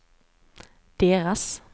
deras